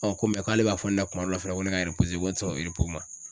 ko k'ale b'a fɔ ne na kuma dɔ la fɛnɛ ko ne ka n wo ti sɔn ma.